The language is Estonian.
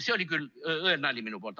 See oli küll õel nali minu poolt.